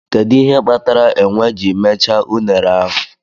Kedu ihe kpatara enwe ji mechaa unere ahụ?